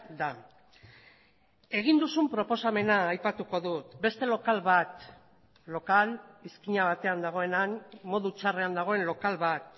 da egin duzun proposamena aipatuko dut beste lokal bat lokal izkina batean dagoena han modu txarrean dagoen lokal bat